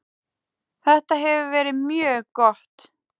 Þetta hefur verið mjög gott.